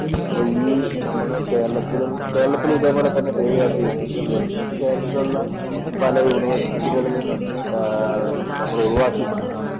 അപ്പൊ നമ്മുടെ ഈ കേരളത്തിലും കേരളത്തിലും ഇതേപോലെ പേരുകേട്ട യൂണിവേഴ്സികള്‍ ഉണ്ട്. അപ്പൊ കേരളത്തിലുള്ള പല യൂണിവേഴ്സികളിലും ആഹ് നമ്മള്‍ ഒഴിവാക്കി കൊണ്ട്